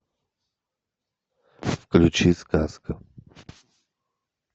включи сказка